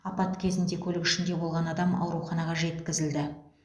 апат кезінде көлік ішінде болған адам ауруханаға жеткізілді